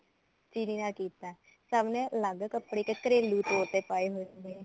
ਚਿਰੀ ਨਾਲ ਕੀਤਾ ਸਭ ਨੇ ਅੱਲਗ ਕੱਪੜੇ ਘਰੇਲੂ ਤੋਰ ਤੇ ਪਾਏ ਹੋਏ ਸੀਗੇ